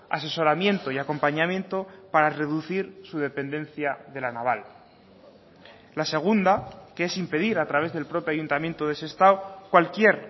asesoramiento y acompañamiento para reducir su dependencia de la naval la segunda que es impedir a través del propio ayuntamiento de sestao cualquier